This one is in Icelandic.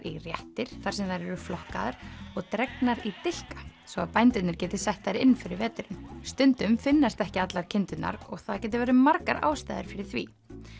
í réttir þar sem þær eru flokkaðar og dregnar í dilka svo að bændurnir geti sett þær inn fyrir veturinn stundum finnast ekki allar kindurnar og það geta verið margar ástæður fyrir því